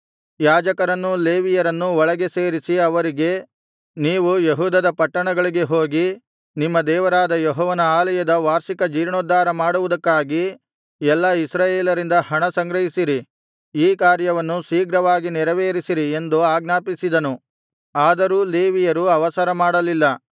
ಯಾಜಕರನ್ನೂ ಲೇವಿಯರನ್ನೂ ಒಟ್ಟಿಗೆ ಸೇರಿಸಿ ಅವರಿಗೆ ನೀವು ಯೆಹೂದದ ಪಟ್ಟಣಗಳಿಗೆ ಹೋಗಿ ನಿಮ್ಮ ದೇವರಾದ ಯೆಹೋವನ ಆಲಯದ ವಾರ್ಷಿಕ ಜೀರ್ಣೋದ್ಧಾರ ಮಾಡುವುದಕ್ಕಾಗಿ ಎಲ್ಲಾ ಇಸ್ರಾಯೇಲರಿಂದ ಹಣ ಸಂಗ್ರಹಿಸಿರಿ ಈ ಕಾರ್ಯವನ್ನು ಶೀಘ್ರವಾಗಿ ನೆರವೇರಿಸಿರಿ ಎಂದು ಆಜ್ಞಾಪಿಸಿದನು ಆದರೂ ಲೇವಿಯರು ಅವಸರ ಮಾಡಲಿಲ್ಲ